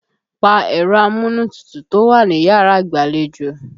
Pa ẹ̀rọ amúnútutù tó wà níyàrá ìgbàlejò!